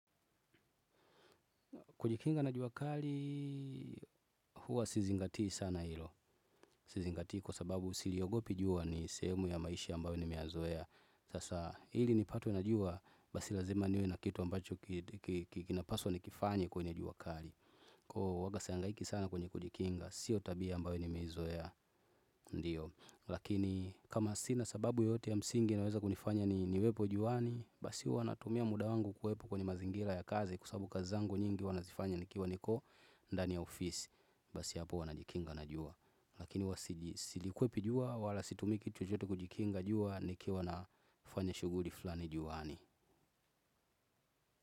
Kujikinga na jua kali huwa si zingati sana hilo. Sizingati kwa sababu siliogopi jua ni sehemu ya maisha ambayo nimeyazoea. Sasa hili nipatwe na jua basi lazima niwe na kitu ambacho kinapaswa nikifanye kwenye jua kali. Kwa waga si hangaiki sana kwenye kujikinga, sio tabia ambayo nimeizoea ndio. Lakini kama sina sababu yoyote ya msingi inaweza kunifanya niwepo juani. Basi huwa natumia muda wangu kuwepo kwenye mazingira ya kazi kwa sababu kazi zangu nyingi huwa nazifanya nikiwa niko ndani ya ofisi. Basi hapo huwa najikinga na jua. Lakini huwa silikwepi jua, wala situmi kitu chochote kujikinga jua nikiwa nafanya shughuli fulani juani.